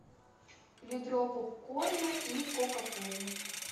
ведро попкорна и кока колу